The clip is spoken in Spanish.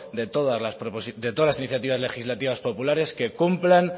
de todas las iniciativas legislativas populares que cumplan